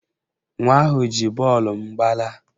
Nwa ahụ ji bọọlụ m gbalaa